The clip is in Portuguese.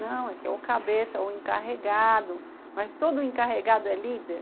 Não, é que é ou cabeça ou encarregado, mas todo encarregado é líder?